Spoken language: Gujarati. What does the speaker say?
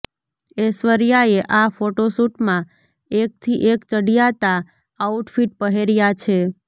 ઐશ્વર્યાએ આ ફોટોશૂટમાં એકથી એક ચડિયાતા આઉટફિટ પહેર્યા છે